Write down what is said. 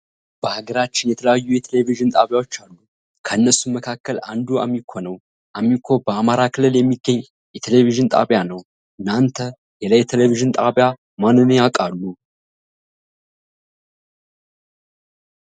በሃገራችን የተለያዩ የቴሌቪዥን ጣቢያዎች አሉ። ከነሱም መካከል አንዱ አሚኮ ነው። አሚኮ በአማራ ክልል የሚገኝ የቴሌቪዥን ጣቢያ ነው። እናንተ ሌላ የቴሌቪዥን ጣቢያ ማንን ያቃሉ?